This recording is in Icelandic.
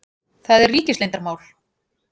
Það er. ríkisleyndarmál.